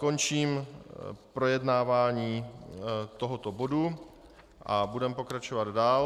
Končím projednávání tohoto bodu a budeme pokračovat dál.